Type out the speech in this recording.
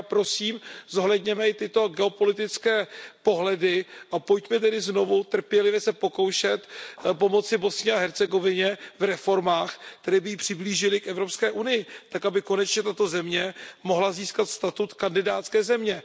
Takže já prosím, zohledněme i tyto geopolitické pohledy a pojďme tedy znovu trpělivě se pokoušet pomoci Bosně a Hercegovině v reformách, které by ji přiblížily k Evropské unii, tak aby konečně tato země mohla získat statut kandidátské země.